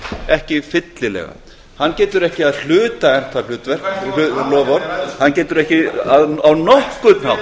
ekki fyllilega hann getur ekki að hluta efnt það hlutverk loforð hann getur ekki á nokkurn hátt